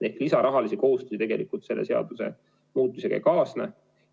Rahalisi lisakohustusi tegelikult selle seadusemuudatusega ei kaasne.